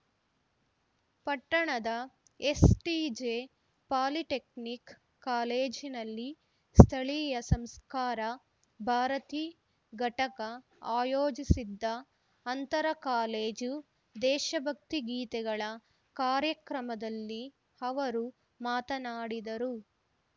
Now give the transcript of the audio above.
ಪಟ್ಟಣದ STJ polytechnic ಕಾಲೇಜಿನಲ್ಲಿ ಸ್ಥಳೀಯ ಸಂಸ್ಕಾರ ಭಾರತಿ ಘಟಕ ಅಯೋಜಿಸಿದ್ದ ಅಂತರ ಕಾಲೇಜು ದೇಶಭಕ್ತಿ ಗೀತೆಗಳ ಕಾರ್ಯಕ್ರಮದಲ್ಲಿ ಅವರು ಮಾತನಾಡಿದರು